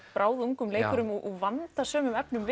bráðungum leikurum úr vandasömum efnum